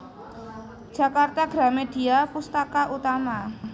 Jakarta Gramedia Pustaka Utama